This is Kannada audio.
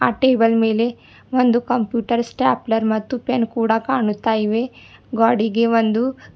ಆ ಟೇಬಲ್ ಮೇಲೆ ಒಂದು ಕಂಪ್ಯೂಟರ್ ಸ್ಟಾಪ್ಲೆರ್ ಮತ್ತು ಪೆನ್ ಕೂಡ ಕಾಣುತ್ತಾ ಇವೆ ಗ್ವಾಡಿಗೆ ಒಂದು--